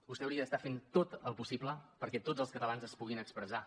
vostè hauria d’estar fent tot el possible perquè tots els catalans es puguin expressar